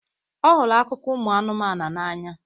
ọ hụrụ akụkọ ụmụ anụmanụ n'anya